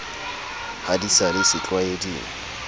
ha di sa le setlwaeding